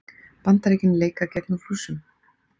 Bandaríkin leika gegn Rússum